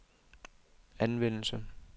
anvendelse